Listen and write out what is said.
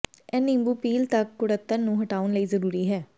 ਇਹ ਨਿੰਬੂ ਪੀਲ ਤੱਕ ਕੁੜੱਤਣ ਨੂੰ ਹਟਾਉਣ ਲਈ ਜ਼ਰੂਰੀ ਹੈ